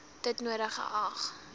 dit nodig geag